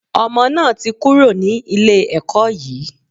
Ọmọ náà ti kúrò ní ilé ẹkọ́ yìí.